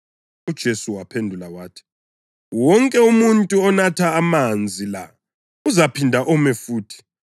UJesu waphendula wathi, “Wonke umuntu onatha amanzi la uzaphinda ome futhi,